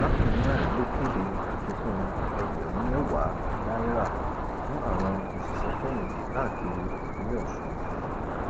bákan náà ló kéde àfikún ẹgbẹrún mẹwàá náírà fún àwọn òṣìṣẹfẹyìntì káàkiri ìpínlẹ ọsùn